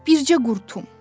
Bircə qurtum.